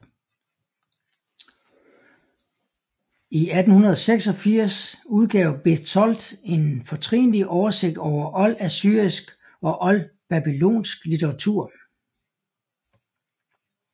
I 1886 udgav Bezold en fortrinlig oversigt over oldassyrisk og oldbabylonsk litteratur